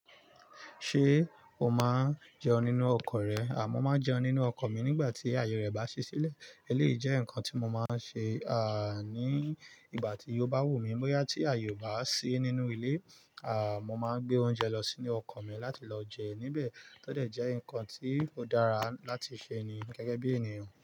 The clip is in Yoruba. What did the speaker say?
Ṣé o máa ń jẹun nínú ọkọ̀ rẹ? À mọ́ máa n jẹun nínú ọkọ̀ mi nígbà tí ààyè rẹ̀ bá ṣí sílẹ̀. Èléyìí jẹ́ nǹkan tí mo máa ń ṣe, ní ìgbà tí yo bá wù mí. Bóyá tí àyè o bá ṣí nínú ilé, à, mo máa ń gbé oúnjẹ lọ sínú ọkọ̀ mi láti lọ jẹ níbẹ̀. Tó dẹ̀ jẹ́ ǹnkan tí ó dára láti ṣe ni, gẹ́gẹ́ bí ènìyàn.